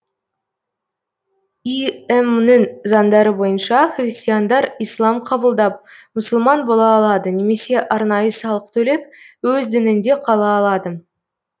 им нің заңдары бойынша христиандар ислам қабылдап мұсылман бола алады немесе арнайы салық төлеп өз дінінде қала алады